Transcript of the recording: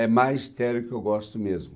É magistério que eu gosto mesmo.